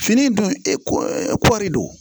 Fini dun e kɔɔri don